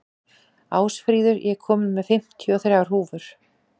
Ásfríður, ég kom með fimmtíu og þrjár húfur!